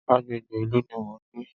Agbègbè ìlú ní mo ń gbé.